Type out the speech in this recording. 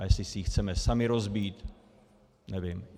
A jestli si ji chceme sami rozbít, nevím.